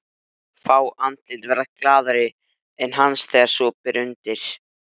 Varla hafði hann víst skánað síðan í menntó.